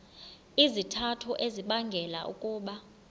izizathu ezibangela ukuba